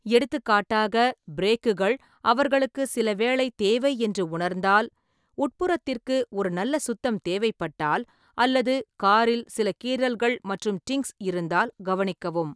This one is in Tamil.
எடுத்துக்காட்டாக, பிரேக்குகள் அவர்களுக்கு சில வேலை தேவை என்று உணர்ந்தால், உட்புறத்திற்கு ஒரு நல்ல சுத்தம் தேவைப்பட்டால், அல்லது காரில் சில கீறல்கள் மற்றும் டிங்ஸ் இருந்தால் கவனிக்கவும்.